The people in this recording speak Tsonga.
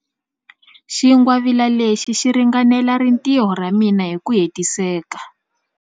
Xingwavila lexi xi ringanela rintiho ra mina hi ku hetiseka.